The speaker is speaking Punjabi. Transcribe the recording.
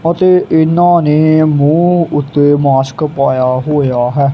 ਅਤੇ ਇਹਨਾਂ ਨੇ ਮੂੰਹ ਉੱਤੇ ਮਾਸਕ ਪਾਇਆ ਹੋਇਆ ਹੈ।